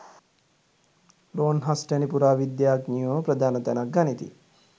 Longhurst වැනි පුරා විද්‍යාඥයෝ ප්‍රධාන තැනක් ගනිති.